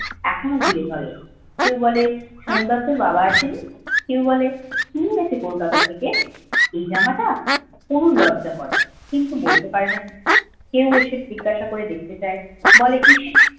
এখনো ঘিরে ধরে কেউ বলে শনি বার তোর বাবা আসেনি কেউ বলে কি এনেছে কলকাতা থেকে এই জামাটা পুনু লজ্জা করে কিন্তু বলতে পারেনা পুনু কেউ এসে জিজ্ঞাসা করে দেখতে চাই বলে ইস